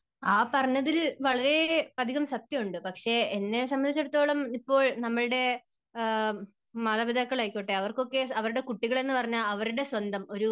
ആ പറഞ്ഞതിൽ വളരെയധികം സത്യം ഉണ്ട്. പക്ഷേ എന്നെ സംബന്ധിച്ചിടത്തോളം ഇപ്പോൾ നമ്മുടെ മാതാപിതാക്കൾ ആയിക്കോട്ടെ അവർക്കൊക്കെ അവരുടെ കുട്ടികളെന്നു പറഞ്ഞാൽ അവരുടെ സ്വന്തം, ഒരു